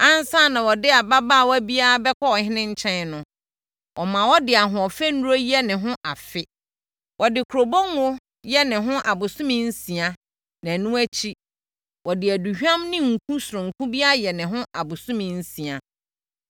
Ansa na wɔde ababaawa biara bɛkɔ ɔhene nkyɛn no, wɔma ɔde ahoɔfɛ nnuro yɛ ne ho afe. Wɔde kurobo ngo yɛ ne ho abosome nsia na ɛno akyi, wɔde aduhwam ne nku sononko bi ayɛ ne ho abosome nsia.